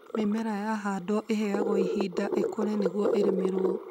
Mĩmera yahandwo ĩheyagwo ihinda ĩkũre nĩguo ĩrĩmĩrwo.